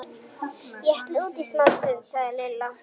Ég ætla út í smástund, sagði Lilla.